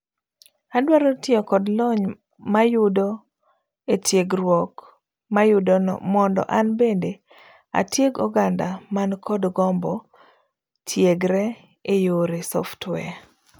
Adwaro tiyo kod lony mayudo etiegruok mayudono mondo an bende atieg oganda man kod gombo tiegre eyore software.